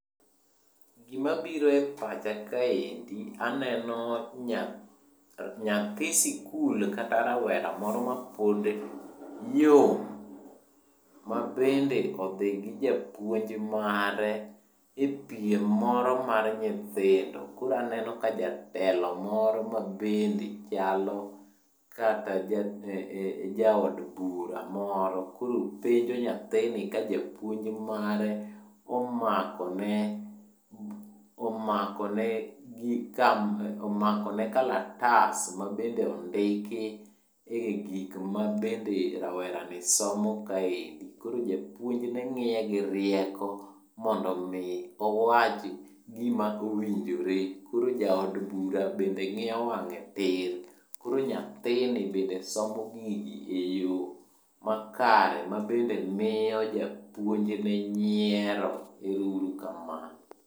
Gima biro e pacha kaendi, aneno nyathi sikul kata rawera moro mapod yom ma bende odhi gi japuonj mare e piem moro mar nyithindo. Koro aneno ka jatelo moro ma bende chalo kata Jaod Bura moro. Koro penjo nyathini ka japuonj mare omakone kalatas mabende ondiki e gik mabende rawerani somo kaendi. Koro japuonjne ng'iye girieko mondomi owach gima owinjore. Koro Jaod Bura bende ngiyo wang'e tir, koro nyathini bende somo gigi e yo makare ma bende miyo japuonjne nyiero. Ero uru kamanao.